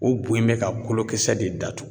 O bo in bɛ ka kolokisɛ de datugu.